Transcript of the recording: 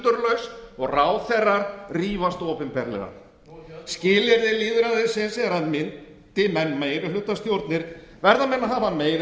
sundurlaus og ráðherrar rífast opinberlega skilyrði lýðræðisins er að myndi menn meirihlutastjórnir verða menn að hafa meiri